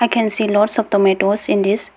I can see lots of tomatoes in this --